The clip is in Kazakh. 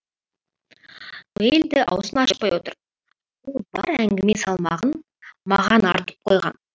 ноэль де аузын ашпай отыр ол бар әңгіме салмағын маған артып қойған